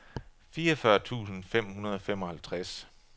fireogfyrre tusind fem hundrede og femoghalvtreds